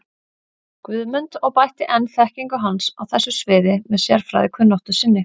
Guðmund og bætti enn þekkingu hans á þessu sviði með sérfræðikunnáttu sinni.